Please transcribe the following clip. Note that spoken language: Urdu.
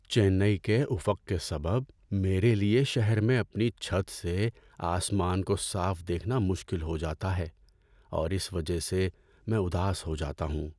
چنئی کے افق کے سبب میرے لیے شہر میں اپنی چھت سے آسمان کو صاف دیکھنا مشکل ہو جاتا ہے اور اس وجہ سے میں اداس ہو جاتا ہوں۔